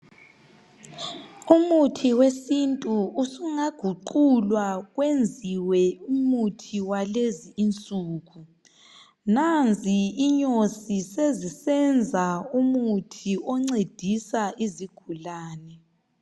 Umuthi wesintu usungaguqulwa wenziwe umuthi walezi insuku. Nanzi inyosi sezisenza umuthi oncedisa izigulane.